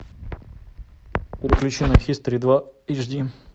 переключи на хистори два эчди